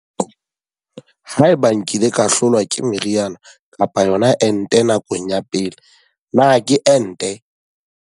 Potso- Haeba nkile ka hlolwa ke meriana kapa yona ente nakong ya pele, na ke ente?